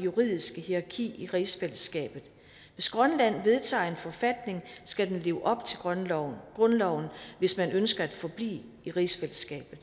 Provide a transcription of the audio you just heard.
juridiske hierarki i rigsfællesskabet hvis grønland vedtager en forfatning skal den leve op til grundloven grundloven hvis man ønsker at forblive i rigsfællesskabet